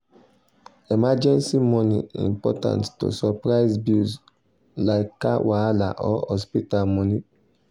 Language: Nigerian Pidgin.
emergency money important to settle surprise bills like car wahala or hospital money.